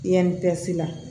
la